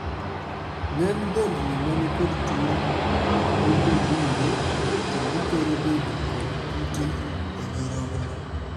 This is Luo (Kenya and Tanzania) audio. Ng`eny dhendni manikod tuo ni nyodunde to githoro bedo kod kite e nyirogno.